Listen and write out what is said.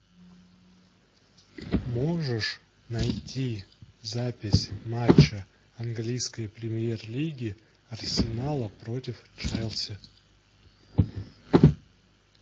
можешь найти запись матча английской премьер лиги арсенала против челси